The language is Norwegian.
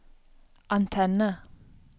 antenne